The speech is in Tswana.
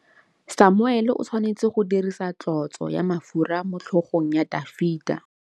Samuele o tshwanetse go dirisa tlotsô ya mafura motlhôgong ya Dafita.